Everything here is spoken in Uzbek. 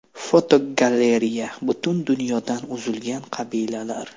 Fotogalereya: Butun dunyodan uzilgan qabilalar.